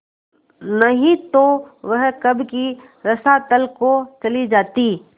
नहीं तो वह कब की रसातल को चली जाती